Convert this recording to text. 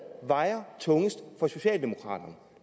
vejer tungest for socialdemokraterne